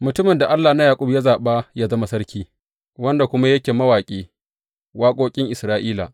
Mutumin da Allah na Yaƙub ya zaɓa yă zama sarki, wanda kuma yake mawaƙi waƙoƙin Isra’ila.